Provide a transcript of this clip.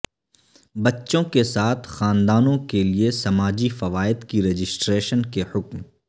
بچوں کے ساتھ خاندانوں کے لئے سماجی فوائد کی رجسٹریشن کے حکم